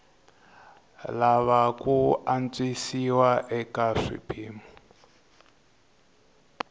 lava ku antswisiwa eka swiphemu